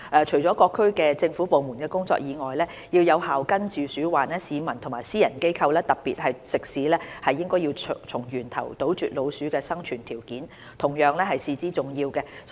除了各政府部門的工作外，要有效根治鼠患，市民和私人機構，特別是食肆，對從源頭斷絕老鼠的生存條件同樣至為重要。